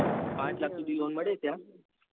પાંચ લાખ સુધી lone મળી જાય.